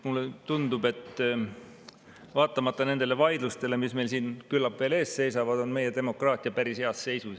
Mulle tundub, et vaatamata nendele vaidlustele, mis meil siin küllap veel ees seisavad, on meie demokraatia päris heas seisus.